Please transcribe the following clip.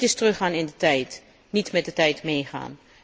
Dit is teruggaan in de tijd, niet met de tijd meegaan.